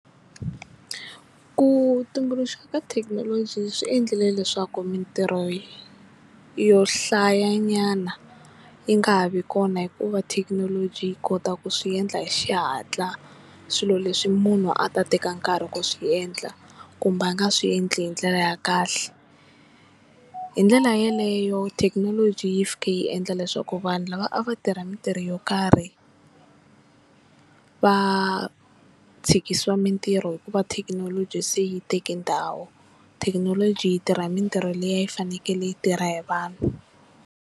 Ku tumbuluxa ka thekinoloji swi endlile leswaku mintirho yo hlayanyana yi nga ha vi kona hikuva thekinoloji yi kota ku swi endla hi xihatla swilo leswi munhu a ta teka nkarhi ku swi endla kumbe a nga swi endli hi ndlela ya kahle, hi ndlela yeleyo thekinoloji yi fike yi endla leswaku vanhu lava a va tirha mintirho yo karhi va tshikisiwa mintirho hikuva thekinoloji se yi teke ndhawu, thekinoloji yi tirha mintirho leyi a yi fanekele yi tirha hi vanhu.